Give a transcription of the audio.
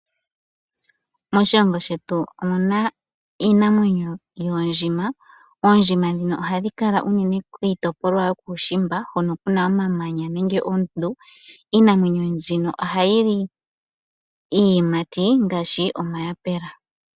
Moshilongo shetu omu na iinamwenyo yoondjima. Oondjima ndhino ohadhi kala unene kiitopolwa yokuushimba hoka ku na omamanya nenge oondundu, iinamwenyo mbyoka ohayi li iiyimati ngaashi omayapula.